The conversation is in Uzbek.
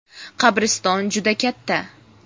Qabriston juda katta.